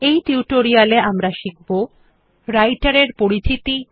এই টিউটোরিয়াল এ আমরা শিখব রাইটের এর পরিচিতি